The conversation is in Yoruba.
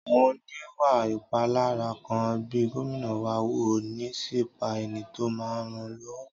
Àwọn oníwà ìpániláyà kan bẹ Gómìnà wa wò, wọ́n ṣì pa ẹni tó máa n ràn lọ́wọ́